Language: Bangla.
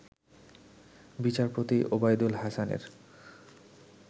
বিচারপতি ওবায়দুল হাসানের